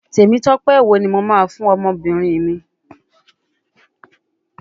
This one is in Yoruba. Temitope wo ni mo máa fún ọmọbìnrin mi.